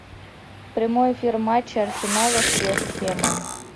прямой эфир матча арсенала с вест хэмом